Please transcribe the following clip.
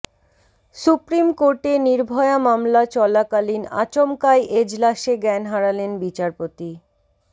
supreme কোর্টে নির্ভয়া মামলা চলাকালীন আচমকাই এজলাসে জ্ঞান হারালেন বিচারপতি